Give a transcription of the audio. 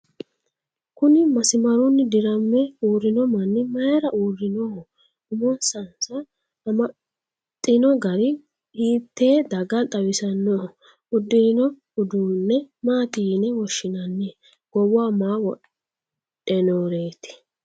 kuni masimarunni dirame uurrino manni maayeera uurrinoho? umosnsa amaxxino gari hiittee daga xawisannoho? uddirino uduunne maati yine woshshinanni? goowaho maa wodhinoreeti?